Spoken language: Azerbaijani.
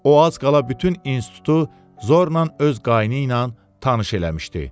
O az qala bütün institutu zorla öz qayını ilə tanış eləmişdi.